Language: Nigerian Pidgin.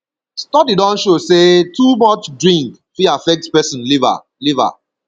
study don show sey too much drink fit affect person liver liver